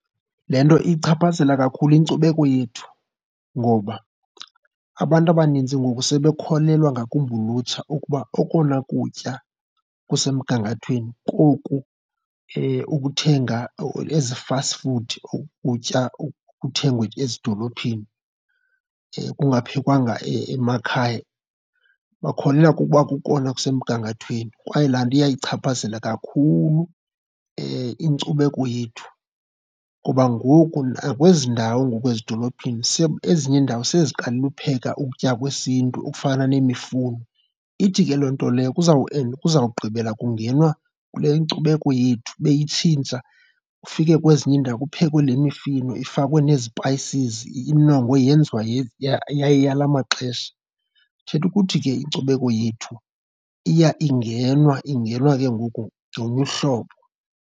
Le nto iyichaphazela kakhulu inkcubeko yethu ngoba abantu abanintsi ngoku sebekholelwa, ngakumbi ulutsha, ukuba okona kutya kusemgangathweni koku ukuthenga, ezi fast food, oku kutya kuthengwa ezidolophini ekungaphekwanga emakhaya. Bakholelwa kukuba kukona kusemgangathweni kwaye laa nto iyayichaphazela kakhulu inkcubeko yethu ngoba ngoku nakwezi ndawo ngoku ezidolophini ezinye iindawo seziqalile upheka ukutya kwesiNtu okufana nemifuno. Ithi ke loo nto leyo kuzawugqibela kungenwa kule inkcubeko yethu beyitshintsha, ufike kwezinye iindawo kuphekwe le mifino ifakwe nee-spices inongwe yenziwa yaye yala maxesha. Kuthetha ukuthi ke inkcubeko yethu iya ingenwa, ingenwa ke ngoku ngolunye uhlobo.